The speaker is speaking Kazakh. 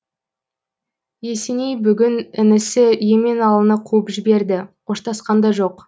есеней бүгін інісі еменалыны қуып жіберді қоштасқан да жоқ